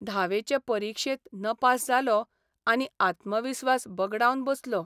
धावेचे परिक्षेत नपास जालो आनी आत्मविस्वास बगडावन बसलो.